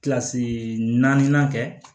Kilasi naani kɛ